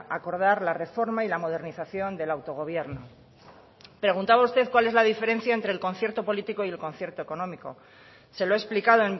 acordar la reforma y la modernización del autogobierno preguntaba usted cuál era la diferencia entre el concierto político y el concierto económico se lo he explicado